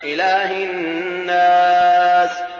إِلَٰهِ النَّاسِ